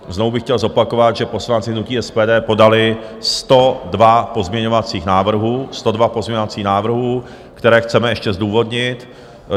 Znovu bych chtěl zopakovat, že poslanci hnutí SPD podali 102 pozměňovacích návrhů, 102 pozměňovacích návrhů, které chceme ještě zdůvodnit.